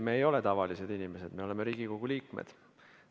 Me ei ole tavalised inimesed, me oleme Riigikogu liikmed.